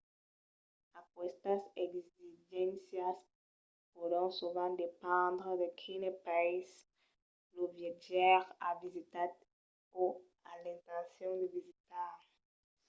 aquestas exigéncias pòdon sovent dependre de quines païses lo viatjaire a visitat o a l'intencion de visitar